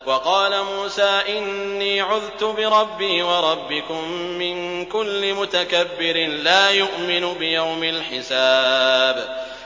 وَقَالَ مُوسَىٰ إِنِّي عُذْتُ بِرَبِّي وَرَبِّكُم مِّن كُلِّ مُتَكَبِّرٍ لَّا يُؤْمِنُ بِيَوْمِ الْحِسَابِ